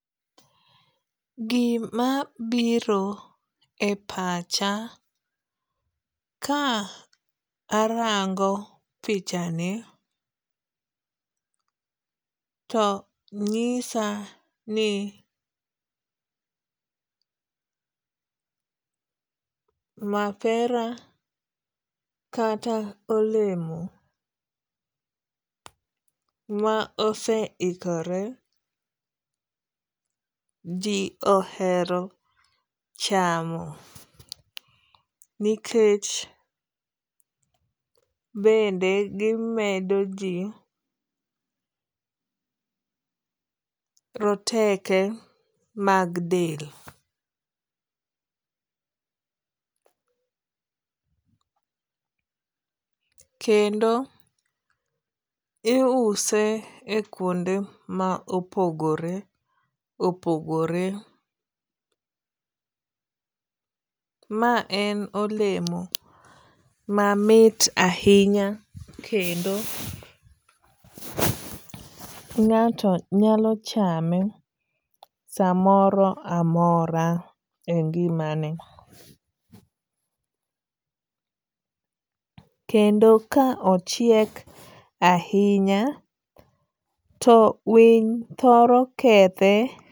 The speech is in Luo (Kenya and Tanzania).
Gima biro e pacha ka arango picha ni to nyisa ni mapera kata olemo ma ose ikore ji ohero chamo nikech bende gimedo ji roteke mag del. Kendo iuse e kuonde ma opogore opogore. Ma en olemo mamit ahinya kendo ng'ato nyalo chame samoro amora e ngima ne. Kendo ka ochiek ahinya to winy thoro kethe.